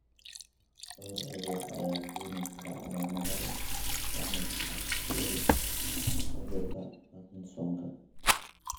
Dhowr cudur ayaa keeni kara calaamado la mid ah kuwa cudurka Parkinsonka.